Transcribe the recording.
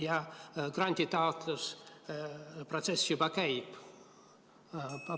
Ja granditaotluste protsess juba käib.